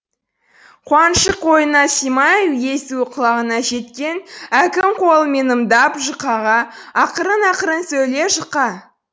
қуанышы қойнына симай езуі құлағына жеткен әкім қолымен ымдап жұқаға ақырын ақырын сөйле жұқа